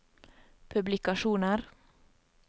publikasjoner